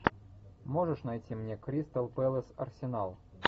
можешь найти мне кристал пэлас арсенал